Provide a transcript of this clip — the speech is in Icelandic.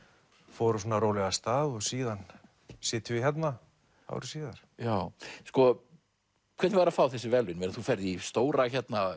fór hún svona rólega af stað og síðan sitjum við hérna ári síðar sko hvernig var að fá þessi verðlaun þú ferð í stóra